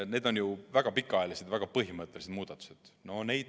Need on väga pikaajalised ja väga põhimõttelised muudatused.